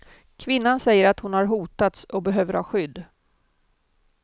Kvinnan säger att hon har hotats och behöver ha skydd.